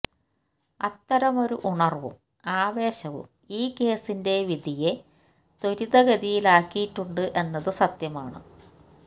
അത്തരമൊരു ഉണർവും ആവേശവും ഈ കേസിന്റെ വിധിയെ ത്വരിതഗതിയിലാക്കിയിട്ടുണ്ട് എന്നത് സത്യമാണ്